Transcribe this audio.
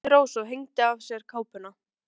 sagði Rósa og hengdi af sér kápuna.